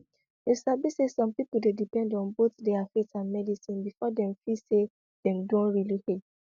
you sabi say some people dey depend on both their faith and medicine before dem feel say dem don really heal